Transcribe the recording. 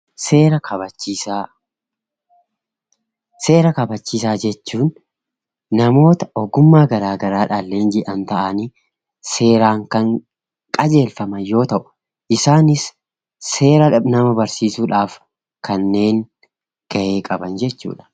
Seera kabachiisaa, seera kabachiisaa jechuun namoota ogummaa garagaraan leenji'an ta'anii seeraan kan qajeelfaman yoo ta'u isaanis seera nama barsiisuudhaaf kanneen gahee qaban jechuudha.